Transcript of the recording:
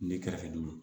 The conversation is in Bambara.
Ne kɛrɛfɛ